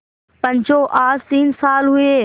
पंचो आज तीन साल हुए